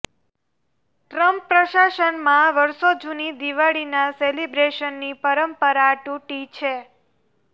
Trump પ્રશાસનમાં વર્ષો જુની દિવાળીના સેલિબ્રેશનની પરંપરા તૂટી છે